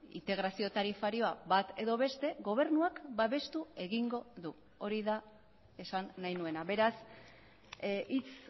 integrazio tarifarioa bat edo beste gobernuak babestu egingo du hori da esan nahi nuena beraz hitz